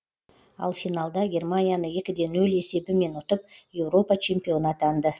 ал финалда германияны екі де нөл есебімен ұтып еуропа чемпионы атанды